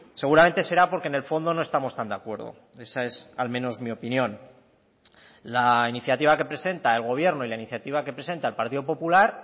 seguramente será porque en el fondo no estamos tan de acuerdo esa es al menos mi opinión la iniciativa que presenta el gobierno y la iniciativa que presenta el partido popular